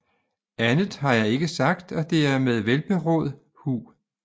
Andet har jeg ikke sagt og det er med velberåd hu